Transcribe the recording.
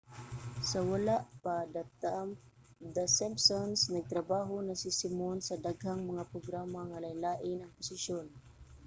sa wala pa the simpsons nagtrabaho na si simon sa daghang mga programa nga lain-lain ang posisyon